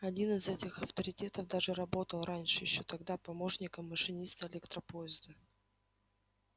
один из этих авторитетов даже работал раньше ещё тогда помощником машиниста электропоезда